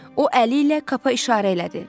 O əli ilə Kapa işarə elədi.